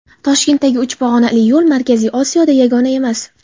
Toshkentdagi uch pog‘onali yo‘l Markaziy Osiyoda yagona emas.